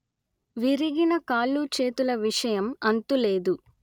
విరిగిన కాళ్ళు చేతుల విషయం అంతులేదు